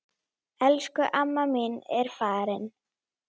Elsku amma mín er farin.